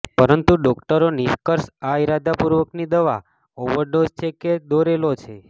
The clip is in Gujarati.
પરંતુ ડોક્ટરો નિષ્કર્ષ આ ઇરાદાપૂર્વકની દવા ઓવરડોઝ છે કે દોરેલા છે